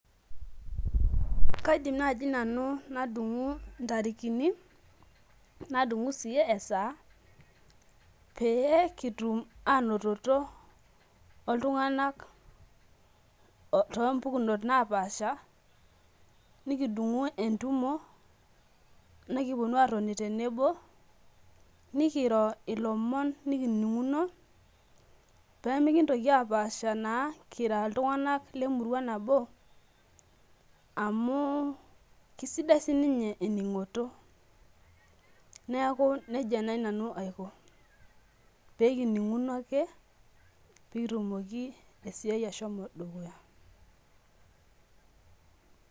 Kaidim naji nanu nadungu ntarikini nadungu sii esaa pee kitum anototo oltunganak otoompukunot naapasha nikidungu entumo , nikiponu airo ilomon tenebo , nikiro ilomon nikininguno pemikintoki apasha naa kira iltunganak lemurua nabo amu kisidai sininye eningoto , niaku nejia nai nanu aiko pekininguno ake pekitumoki esiai ashomo dukuya.